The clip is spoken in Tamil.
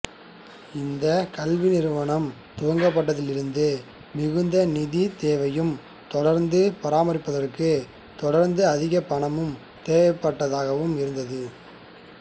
இந்த கல்வி நிறுவனம் துவக்கப்பட்டதிலிருந்து மிகுந்த நிதி தேவையும் தொடர்ந்து பராமரிப்பதற்கு தொடர்ந்து அதிக பணம் தேவைப்பட்டதாகவும் இருந்தது